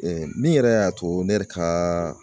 min yɛrɛ y'a to ne yɛrɛ ka